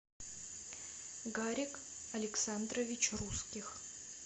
гарик александрович русских